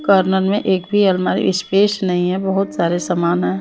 Corner में एक भी अलमारी स्पेस नहीं है बहुत सारे समान है।